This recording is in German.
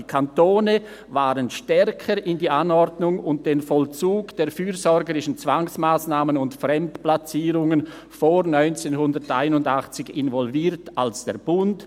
«Die Kantone waren stärker in die Anordnung und den Vollzug der fürsorgerischen Zwangsmassnahmen und Fremdplatzierungen vor 1981 involviert als der Bund.